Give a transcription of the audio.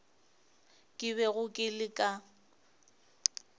ke bego ke le ka